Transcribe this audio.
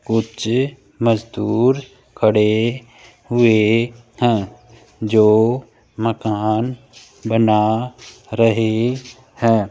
कुछ मजदूर खड़े हुए हैं जो मकान बना रहे हैं।